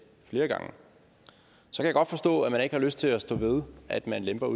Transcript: så kan jeg godt forstå at man ikke har lyst til at stå ved at man lemper